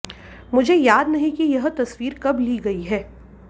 मुझे याद नहीं कि ये तस्वीर कब ली गई है